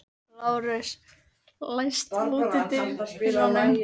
Lárus, læstu útidyrunum.